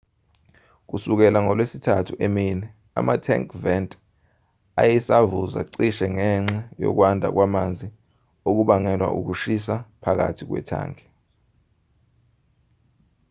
kusukela ngolwesithathu emini ama-tank vent ayesavuza cishe ngenxa yokwanda kwamanzi okubangelwa ukushisa phakathi kwethangi